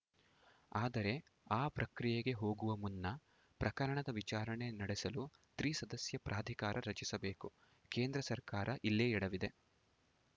ಆದರೆ ಆ ಪ್ರಕ್ರಿಯೆಗೆ ಹೋಗುವ ಮುನ್ನ ಪ್ರಕರಣದ ವಿಚಾರಣೆ ನಡೆಸಲು ತ್ರಿಸದಸ್ಯ ಪ್ರಾಧಿಕಾರ ರಚಿಸಬೇಕು ಕೇಂದ್ರ ಸರ್ಕಾರ ಇಲ್ಲೇ ಎಡವಿದೆ